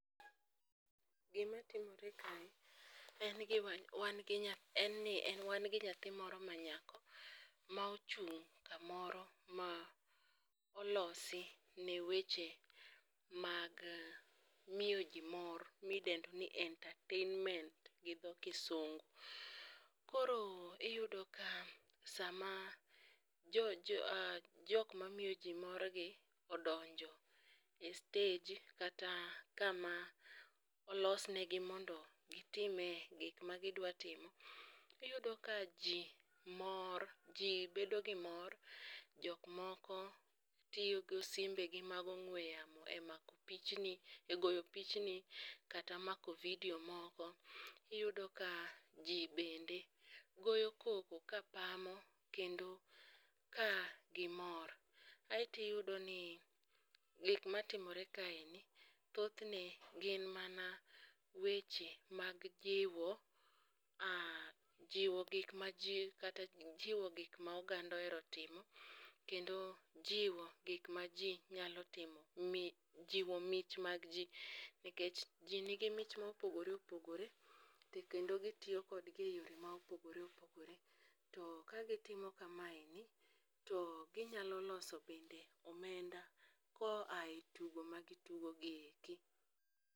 Gimatimore kae, en ni wan gi nyathi moro manyako ma ochung' kamoro ma olosi ne weche mag miyo ji mor midendo ni entertainment gi dho kisungu. Koro iyudo ka sama jok mamiyo ji morgi odonjo e stage kata kama olos negi omondo gitime gik magidwa timo, iyudo ka ji mor ,ji bedo gi mor, jok moko tiyo gi simbegi mag ong'we yamo e mako pichni,e goyo pichni kata mako video moko. iyudo ka ji bende goyo koko kapamo kendo ka gimor, aeto iyudo ni gik matimore kaeni thothne gin mana weche mag jiwo gik ma ji kata jiwo gik ma oganda ohero timo, kendo jiwo gik ma ji nyalo timo, jiwo mich mag ji nikech ji nigi mich ma opogore opogore to kendo gitiyo kodgi e yore ma opogore opogorew. To ka gitimo kamaendi to ginyalo loso bende omenda koa e tugo magitugo gi eki.